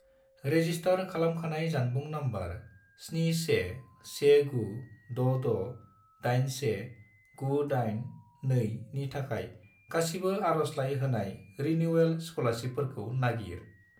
Register खालामखानाय जानबुं number 71196681982 नि थाखाय गासिबो आरजलाइ होनाय रिनिउयेल स्कलारसिपफोरखौ नागिर।